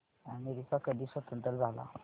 America कधी स्वतंत्र झाला